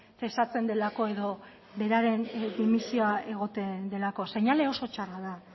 zesatzen delako edo beraren dimisioa egoten delako seinale oso txarra da